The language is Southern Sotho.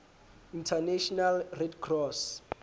international red cross